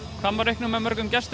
hvað má reikna með mörgum gestum